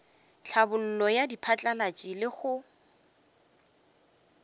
tlhabollo ya diphatlalatši le go